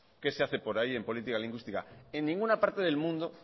qué se hace por ahí en política lingüística en ninguna parte del mundo